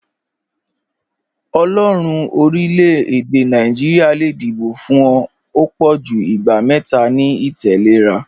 Ọlọ́ọ̀run orílẹ̀-èdè Naijiria le díbọ̀ fún ọ̀ pọ̀jú ìgbà mẹta ni ìtẹ̀lẹ́ra